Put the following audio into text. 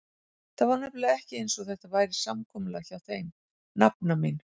Það var nefnilega ekki einsog þetta væri samkomulag hjá þeim, nafna mín.